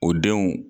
O denw